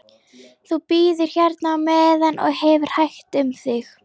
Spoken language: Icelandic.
Þú bíður hérna á meðan og hefur hægt um þig.